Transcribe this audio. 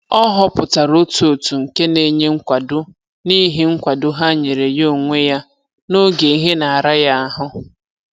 Ọ họpụtara otu òtù nke na-enye nkwado n'ihi nkwado ha nyere ya onwe ya n'oge ihe na-ara ya ahụ